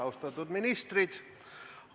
Austatud ministrid!